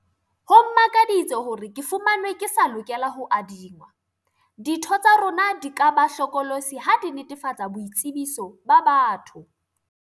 Ho mmakaditse hore ke fumanwe ke sa lokela ho adingwa. Ditho tsa rona di ka ba hlokolosi ha di netefatsa boitsebiso ba batho.